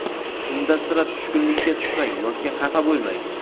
unda sira tushkunlikka tushmang yoki xafa bo‘lmang.